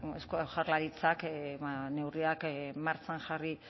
eusko jaurlaritzak neurriak martxan jarri